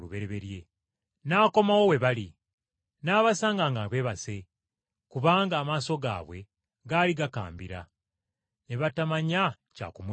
N’akomawo we bali, n’abasanga nga beebase, kubanga amaaso gaabwe gaali gakambira. Ne batamanya kya kumuddamu.